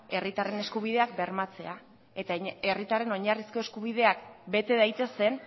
herritarren eskubideak bermatzea eta herritarren oinarrizko eskubideak bete daitezen